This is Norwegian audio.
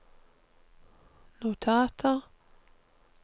notater